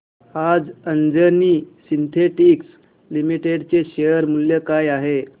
आज Anjani synthetics limited चे share मूल्य काय आहे